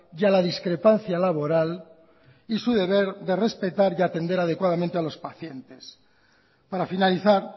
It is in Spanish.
y a la discrepancia laboral y su deber de respetar y atender adecuadamente a los pacientes para finalizar